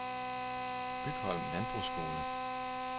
Bygholm Landbrugsskole